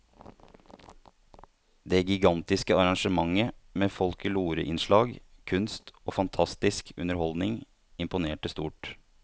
Det gigantiske arrangementet med folkloreinnslag, kunst og fantastisk underholdning imponerte stort.